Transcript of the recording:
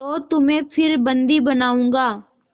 तो तुम्हें फिर बंदी बनाऊँगा